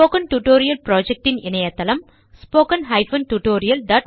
spoken tutorial project ன் இணையதளம் httpspoken tutorialorg